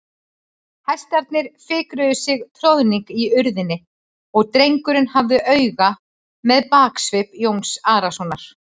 Hestarnir fikruðu sig troðning í urðinni og drengurinn hafði auga með baksvip Jóns Arasonar.